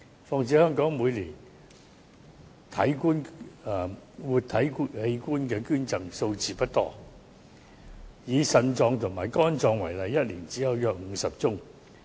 再者，香港每年的活體器官捐贈數字不多，以腎臟及肝臟為例，一年只有約50宗。